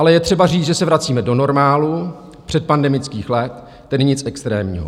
Ale je třeba říct, že se vracíme do normálu předpandemických let, tedy nic extrémního.